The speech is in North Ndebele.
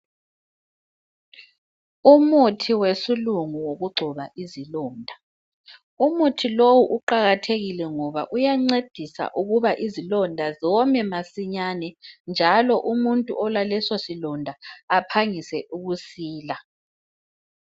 Umuthi wesilungu wokugcoba izilonda. Umuthi lowu uqakathekile ngoba uyancedisa ukuba izilonda zome masinyane, njalo umuntu olalesosilonda aphangise ukusila.